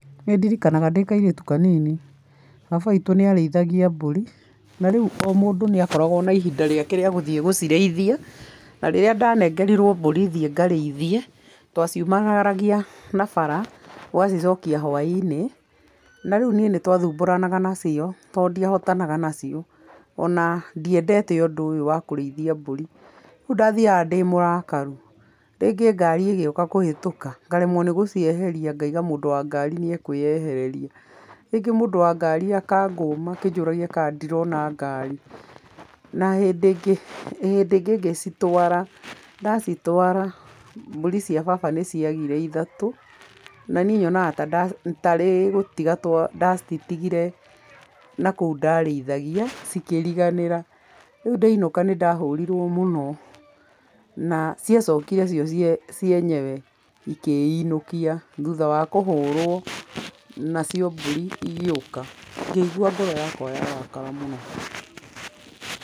Nĩndirikanaga ndĩ kairĩtu kanini , baba witu nĩ arĩithagia mbũri rĩũ o mũndũ nĩ akoragwo na ihinda rĩake rĩa gũthiĩ gũciriithia, na rĩrĩa ndanengerirwo mbũri thiĩ ngacirĩithie twa ciumagaragia na bara ũgacĩcokia hwainĩ, na rĩũ niĩ nĩtwathubũranaga nacio tondũ ndiahotanaga nacio, ona ndiendete ũndũ ũyũ wa kũrĩithia mbũri, rĩũ ndathiaga ndĩmũrakaru, rĩngĩ ngari ĩgĩũka kũhĩtũka ngaremwo nĩgũcieheria ngaiga mũndũ wa ngari nĩ akwĩyehereria, rĩngĩ mũndũ wa ngari akangũma akanjũria kana ndirona ngari, na hĩndĩ ĩngĩ ngĩcitwara ndacitwara mbũri cia baba nĩ ciagire ithatũ na niĩ nyonaga tarĩ gũtiga nda citigire na kũũ ndarĩithagia ikĩriganĩra, rĩũ ndainuka nĩ ndahũrirwo mũno na cia cokire cio cienyewe ikĩinuka thutha wa kũhũrwo nacio mbũri ingĩũka ngĩigua ngoro yakwa yarakara mũno.